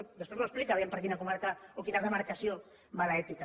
després m’ho explica per quina comarca o quina demarcació va l’ètica